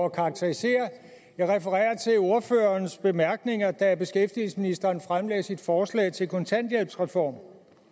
og karakteriserer jeg refererer til ordførerens bemærkninger da beskæftigelsesministeren fremlagde sit forslag til en kontanthjælpsreform